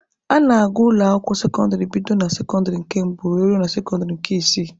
A na-agụ ụlọ akwụkwọ sekọndịrị bido na sekọndịrị nke mbụ were ruo na sekọndịrị nke isii